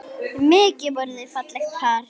Mikið voru þau fallegt par.